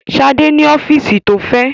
Ṣadé ní ọ́fíísì tó fẹ̀.